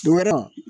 Don wɛrɛ